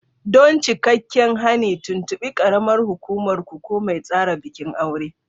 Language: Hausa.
Don cikakken hani, tuntuɓi karamar hukumar ku ko mai tsara bikin aure.